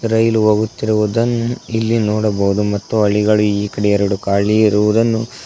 ರೈಲು ಹೋಗುತ್ತಿರುವುದನ್ನು ಇಲ್ಲಿ ನೋಡಬಹುದು ಮತ್ತು ಅಳಿಗಳು ಈ ಕಡೆ ಎರಡು ಖಾಲಿ ಇರುವುದನ್ನು--